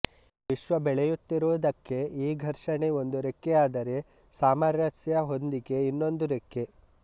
ವಿಶ್ವ ಬೆಳೆಯುತ್ತಿರುವುದಕ್ಕೆ ಈ ಘರ್ಷಣೆ ಒಂದು ರೆಕ್ಕೆಯಾದರೆ ಸಾಮರಸ್ಯ ಹೊಂದಿಕೆ ಇನ್ನೊಂದು ರೆಕ್ಕೆ